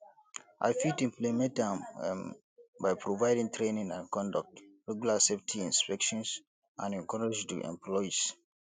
i fit implement am um by providing training and conduct regular safety inspections and encourage di employees